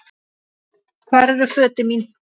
Hvar eru fötin mín?